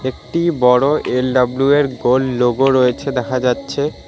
একটি বড় এল_ডাব্লু এর গোল্ড লোগো রয়েছে দেখা যাচ্ছে।